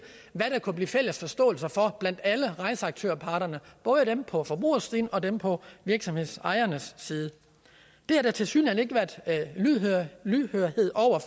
hvad der kunne blive fælles forståelse for blandt alle rejseaktørparterne både dem på forbrugersiden og dem på virksomhedsejernes side det har der tilsyneladende ikke været lydhørhed over